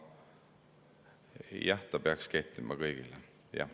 Jah, ta peaks kehtima kõigile, jah.